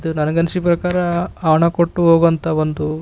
ಇದು ನನಗೆ ಅನಿಸಿ ಪ್ರಕಾರ ಹಣ ಕೊಟ್ಟು ಹೋಗುವಂಥ ಒಂದು --